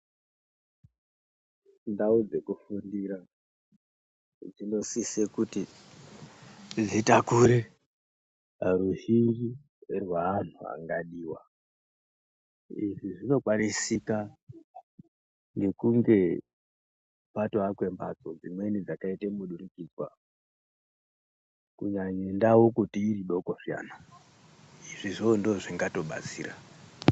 Ndawo dzekufundira, dzinosise kuti dzitakure ruzhinji rwaantu vangadiwa ,izvi zvinokwanisika nekunge kwatovakwe mhatso dzimweni dzakaita mudurikwidzwa kunyanye ndawo iridoko zviani, izvozvo ndozvingatobatsira.